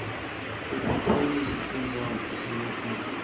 kutfutfukisa tindzawo tasema khaya